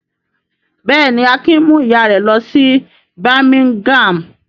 Bẹ́ẹ̀ ni, Akin mú ìyá rẹ̀ lọ sí Birmingham.